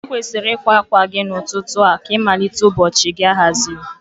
I kwesiri ịkwa akwa gị n'ụtụtụ a ka ịmalite ụbọchị gị ahaziri.